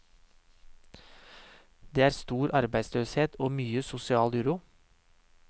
Det er stor arbeidsløshet og mye sosial uro.